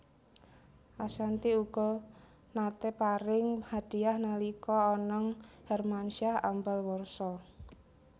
Ashanty uga naté paring hadiyah nalika Anang Hermansyah ambal warsa